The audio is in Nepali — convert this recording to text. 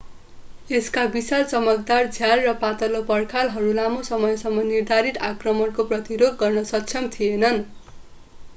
यसका विशाल चमकदार झ्याल र पातलो पर्खालहरू लामो समयसम्म निर्धारित आक्रमणको प्रतिरोध गर्न सक्षम थिएनन्